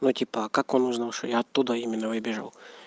ну типа а как он узнал что я оттуда именно выбежал